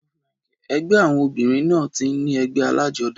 Ẹgbẹ́ àwọn obìrin náà tí n ní ègbé alájodá